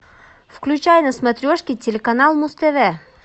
включай на смотрешке телеканал муз тв